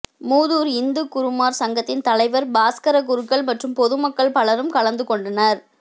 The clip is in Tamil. மூதூர் இந்து குருமார் சங்கத்தின் தலைவர் பாஸ்கரக் குருக்கள் மற்றும் பொதுமக்கள் பலரும் கலந்து கொண்டனர்